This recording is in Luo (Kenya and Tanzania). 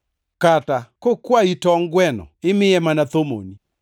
Kata kokwayi tongʼ gweno, imiye mana thomoni?